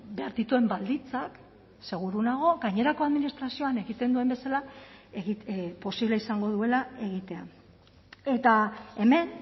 behar dituen baldintzak seguru nago gainerako administrazioan egiten duen bezala posible izango duela egitea eta hemen